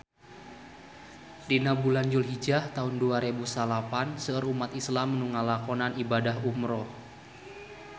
Dina bulan Julhijah taun dua rebu salapan seueur umat islam nu ngalakonan ibadah umrah